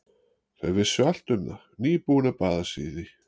Þau vissu allt um það, nýbúin að baða sig í því.